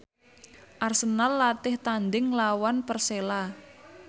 Arsenal latih tandhing nglawan Persela